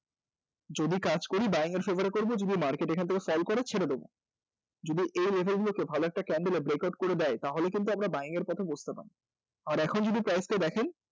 যদি কাজ করি buing এর favour এ করব যদি market এখান থেকে fall করে ছেড়ে দেব যদি এই level গুলোতে ভালো একটা candle এর breakout করে দেয় তাহলে কিন্তু আমরা buying এর পথে বসতে পারি আর এখন যদি price টা দেখেন